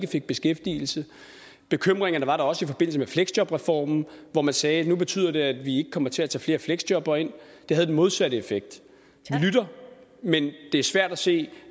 fik beskæftigelse bekymringerne var der også i forbindelse med fleksjobreformen hvor man sagde at nu betyder det at vi ikke kommer til at tage flere fleksjobbere ind det havde den modsatte effekt det er svært at se